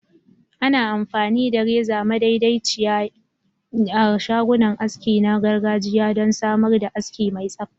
Ana amfani da reza madaidaiciya a shagunan aski na gargajiya don samar da aski mai tsabta.